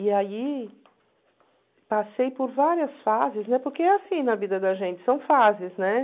E aí passei por várias fases, né, porque é assim na vida da gente, são fases né?